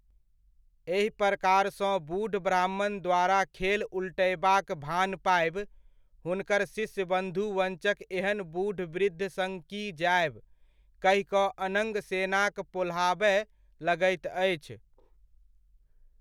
एहि प्रकारसँ बूढ़ ब्राह्मणद्वारा खेल उल्टयबाक भान पाबि, हुनकर शिष्य बन्धुवञ्चक एहन बुढ़ वृद्ध सङ्ग की जायब, कहि कऽ अनङ्ग सेनाक पोल्हाबय लगैत अछि।